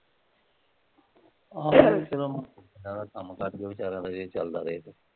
ਆਹੋ ਚੱਲੋ ਕੰਮ ਕਾਜ ਵੀ ਚੱਲਦਾ ਰਹੇ ਇਹ ਚੱਲਦਾ ਰਹੇ